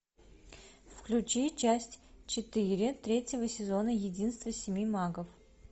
включи часть четыре третьего сезона единство семи магов